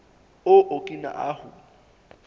o okina ahu